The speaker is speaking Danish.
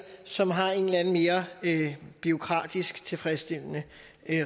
som har et eller andet mere bureaukratisk tilfredsstillende